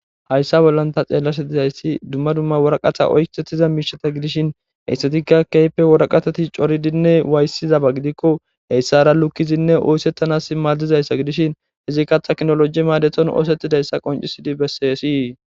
Haysa bola ta xelashe dizay duma duma woraqata oysetiza mishata gidishin heysatika kehipe woraqatati c'oridinne waysidaba gidiko heysata lukidi oysetanas madizaysa gidishin izika tekinoloje madeton osetidaysa qonc'isi beses.